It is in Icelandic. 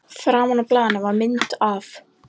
Framan á blaðinu var mynd- af